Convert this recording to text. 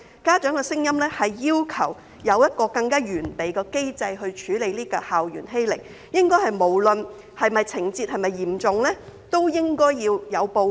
家長的聲音是要求有一個更完備的機制來處理校園欺凌，無論情節是否嚴重均應該要有報告。